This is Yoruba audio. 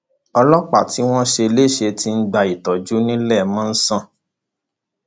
ọlọpàá tí wọn ṣe léṣe ti ń gba ìtọjú níléemọsán